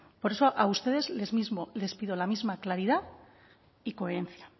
por eso a ustedes mismos les pido la misma claridad y coherencia